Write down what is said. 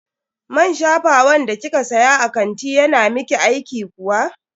Man shafawan da kika siya a kantin yana miki aiki kuwa?